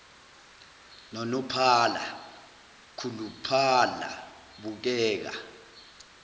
nonophala khuluphala bukeka